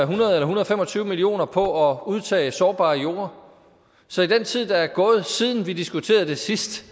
hundrede og fem og tyve million var på at udtage sårbare jorder så i den tid der er gået siden vi diskuterede det sidst